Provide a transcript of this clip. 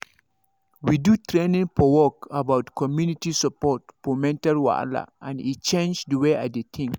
we do training for work about community support for mental wahala and e change the way i dey think